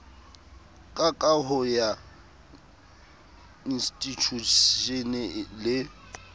ka kaho ya institjhushene le